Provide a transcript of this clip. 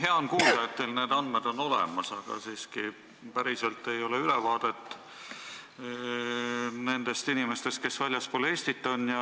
Hea on kuulda, et teil on need andmed olemas, aga päriselt ei ole siiski ülevaadet nendest inimestest, kes väljaspool Eestit elavad.